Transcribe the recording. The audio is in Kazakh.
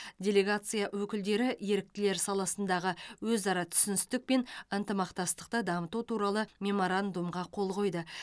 делегация өкілдері еріктілер саласындағы өзара түсіністік пен ынтымақтастықты дамыту туралы меморандумға қол қойды